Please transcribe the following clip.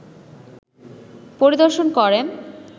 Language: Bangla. পরিদর্শন করেন